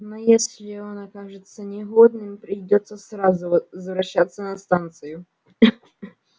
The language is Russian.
но если он окажется негодным придётся сразу возвращаться на станцию